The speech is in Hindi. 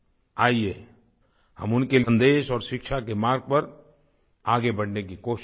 आइए हम उनके सन्देश और शिक्षा के मार्ग पर आगे बढ़ने की कोशिश करें